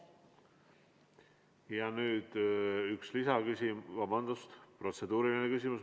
Ja nüüd üks lisaküsimus, vabandust, protseduuriline küsimus.